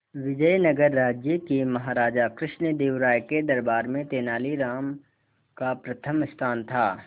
विजयनगर राज्य के महाराजा कृष्णदेव राय के दरबार में तेनालीराम का प्रथम स्थान था